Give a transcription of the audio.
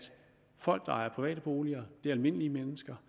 folk der ejer private boliger er almindelige mennesker